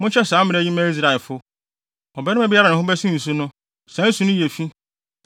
“Monhyɛ saa mmara yi mma Israelfo: ‘Ɔbarima biara a ne ho bɛsen nsu no, saa nsu no yɛ fi.